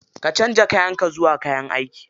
Canza kayan ka zuwa na aiki.